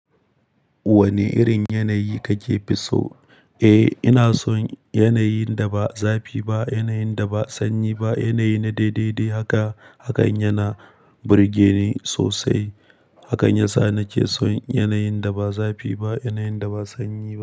Wane irin yanayi kake fiso? Eh, ina son yanayin da ba zafi ba, yanayin da ba sanyi ba, yanayi na daidai dai haka. Hakan yana burge ni sosai. Hakan yasa na ke son yanayin da ba zafi ba, yanayin da ba sanyi ba.